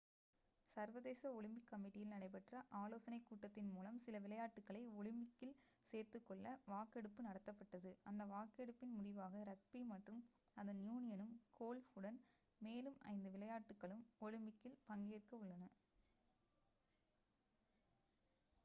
சர்வதேச ஒலிம்பிக் கமிட்டியில் நடைபெற்ற ஆலோசனை கூட்டத்தின் மூலம் சில விளையாட்டுகளை ஒலிம்பிக்கில் சேர்த்துக்கொள்ள வாக்கெடுப்பு நடத்தப்பட்டது அந்த வாக்கெடுப்பின் முடிவாக ரக்பி மற்றும் அதன் யூனியனும் கோல்ஃப் உடன் மேலும் ஐந்து விளையாட்டுகளும் ஒலிம்பிக்சில் பங்கேற்க உள்ளன